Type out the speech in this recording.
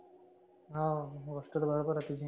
हाव गोष्ट तर बरोबर आहे तुझी.